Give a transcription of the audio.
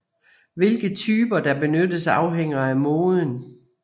Hvilke typer der benyttes afhænger af moden